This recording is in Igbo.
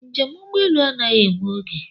Njem ugbọelu anaghị egbu oge